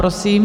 Prosím.